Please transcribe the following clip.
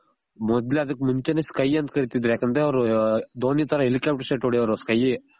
ಮೊದ್ಲ್ ಅದಕ್ಕ್ ಮುಂಚೆನೆ sky ಅಂತ ಕರೀತಿದ್ರು ಯಾಕಂದ್ರೆ ಅವ್ರು ಧೋನಿ ತರ helicopter shot ಹೊಡೆಯೋರು sky